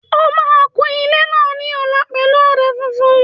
Ẹ máa kun ilé náà ní ọ̀la pẹ̀lú ọ̀dà funfun